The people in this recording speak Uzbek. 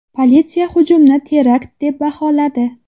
Politsiya hujumni terakt deb baholadi .